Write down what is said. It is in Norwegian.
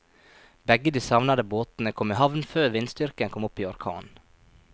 Begge de savnede båtene kom i havn før vindstyrken kom opp i orkan.